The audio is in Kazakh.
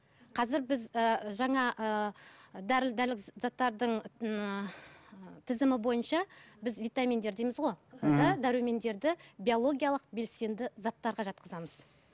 қазір біз ы жаңа ыыы дәрілік заттардың ыыы тізімі бойынша біз витаминдер дейміз ғой дәрумендерді биологиялық белсенді заттарға жатқызамыз